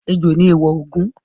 Ejò ni èèwọ̀ Ògún.